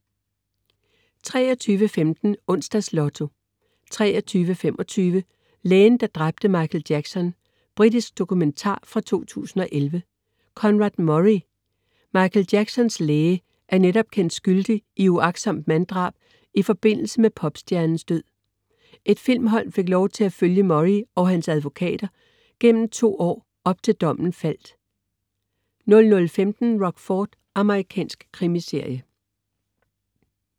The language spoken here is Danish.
23.15 Onsdagslotto 23.25 Lægen, der dræbte Michael Jackson. Britisk dokumentar fra 2011. Conrad Murray, Michael Jacksons læge, er netop kendt skyldig i uagtsomt manddrab i forbindelse med popstjernens død. Et filmhold fik lov til at følge Murray og hans advokater på gennem de to år, op til dommen faldt 00.15 Rockford. Amerikansk krimiserie